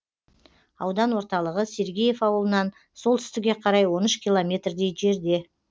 аудан орталығы сергеев ауылынан солтүстікке қарай он үш километрдей жерде